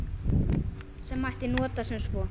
Sem mætti nota sem svo